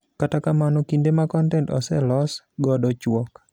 Kata kamano ,kinde ma kontent oselos godo chuok.